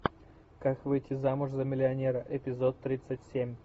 как выйти замуж за миллионера эпизод тридцать семь